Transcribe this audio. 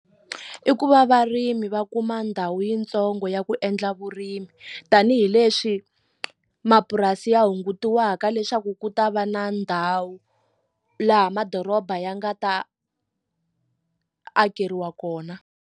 I ku va varimi va kuma ndhawu yitsongo ya ku endla vurimi tanihileswi mapurasi ya hungutiwaka leswaku ku ta va na ndhawu laha madoroba ya nga ta akeriwa kona.